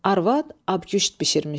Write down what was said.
Arvad abküşt bişirmişdi.